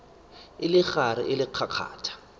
e le gare e kgakgatha